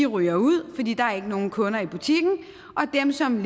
ryger ud fordi der ikke er nogen kunder i butikken og dem som